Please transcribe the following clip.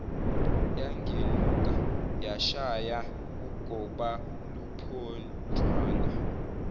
yagenuka yashaya ugobaluphonjwana